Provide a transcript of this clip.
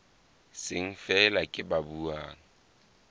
seng feela ke ba buang